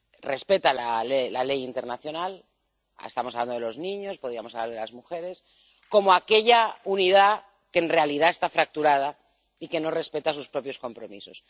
respeta la ley internacional —estamos hablando de los niños, podríamos hablar de las mujeres—, como aquella unidad que, en realidad, está fracturada y que no respeta sus propios compromisos.